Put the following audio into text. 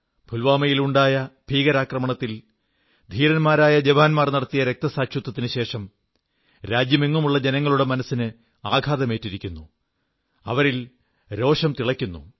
പുൽവാമയിലുണ്ടായ ഭീകരാക്രമണത്തിൽ ധീരന്മാരായ ജവാന്മാർ നടത്തിയ രക്തസാക്ഷിത്വത്തിനുശേഷം രാജ്യമെങ്ങുമുള്ള ജനങ്ങളുടെ മനസ്സിന് ആഘാതമേറ്റിരിക്കുന്നു അവരിൽ രോഷം തിളയ്ക്കുന്നു